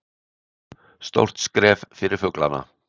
Stórt skref fyrir fuglana